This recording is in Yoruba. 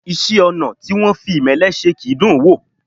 Iṣẹ́-ọnà̀ tí wọ́n fi ìmẹ́lẹ́ se kì í dùn ún wò.